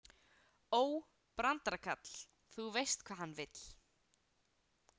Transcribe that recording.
Ó, brandarakarl, þú veist hvað hann vill.